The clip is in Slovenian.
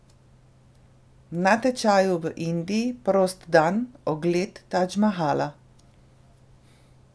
Na tečaju v Indiji, prost dan, ogled Tadž Mahala.